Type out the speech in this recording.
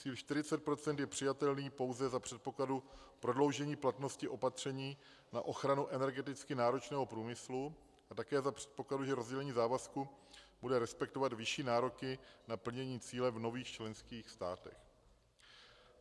Cíl 40 % je přijatelný pouze za předpokladu prodloužení platnosti opatření na ochranu energeticky náročného průmyslu a také za předpokladu, že rozdělení závazku bude respektovat vyšší nároky na plnění cíle v nových členských státech.